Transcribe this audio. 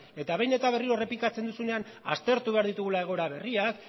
eta behin eta berriro errepikatzen duzunean aztertu behar ditugula egoera berriak